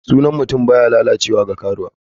Sunan mutum baya lalacewa ga karuwa.